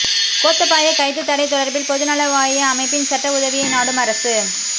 கோத்தபாய கைது தடை தொடர்பில் பொதுநலவாய அமைப்பின் சட்ட உதவியை நாடும் அரசு